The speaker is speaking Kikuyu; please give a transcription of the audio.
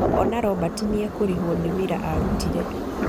Ona Robert nĩekũrihwo nĩ wĩra arutire.